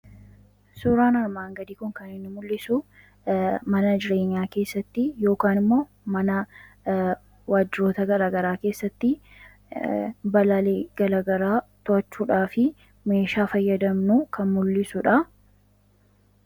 Suuraa kanaa gadii irratti kan argamu kun kan inni mul'isuu mana jireenyaa keessatti yookiin immoo Waajjiroota addaa addaa keessatti balaa garaa garaa to'achuudhaaf meeshaa fayyadamnu kan mul'isuu dha.